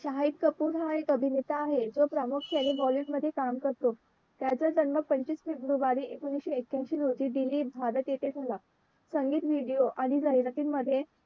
शाहिद कपूर हा एक अभिनेता आहे तो प्रामुख्याने bollywood मध्ये काम करतो त्याचा जन्म पंचवीस फेब्रुवारी एकोणविशे ऐक्यांशी रोजी दिल्ली भारत येथे झाला. संगीत व्हिडीओ आणि जाहिराती मध्ये